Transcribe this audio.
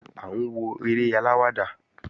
À ń wo eré aláwàdà